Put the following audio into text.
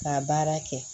Ka baara kɛ